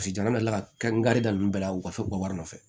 Paseke jamana nana n kari dan ninnu bɛɛ la u ka so ka wari nɔfɛ